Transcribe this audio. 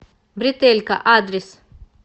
бретелька адрес